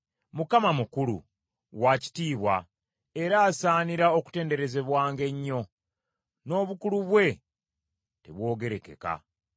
Mukama mukulu, wa kitiibwa, era asaanira okutenderezebwanga ennyo, n’obukulu bwe tebwogerekeka.